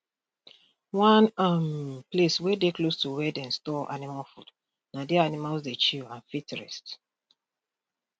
one um place dey close to where dem store animal food na there animals dey chill and fit rest